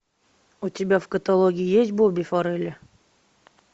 у тебя в каталоге есть бобби фаррелли